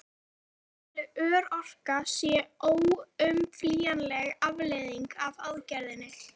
Hversu mikil örorka sé óumflýjanleg afleiðing af aðgerðinni?